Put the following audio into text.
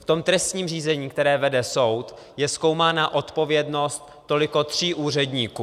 V tom trestním řízení, které vede soud, je zkoumána odpovědnost toliko tří úředníků.